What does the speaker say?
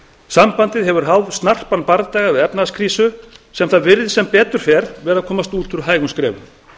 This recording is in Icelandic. sambandið hefur háð snarpan bardaga við efnahagskrísu sem það virðist sem betur fer vera að komast út úr hægum skrefum